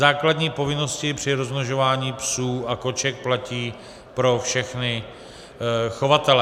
Základní povinnosti při rozmnožování psů a koček platí pro všechny chovatele.